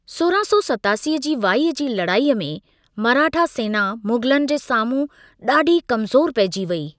सौरहं सौ सतासी जी वाई जी लड़ाईअ में मराठा सेना मुग़लनि जे साम्हूं ॾाढी कमज़ोर पेइजी वेई।